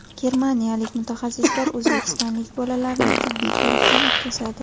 Germaniyalik mutaxassislar o‘zbekistonlik bolalarni tibbiy ko‘rikdan o‘tkazadi.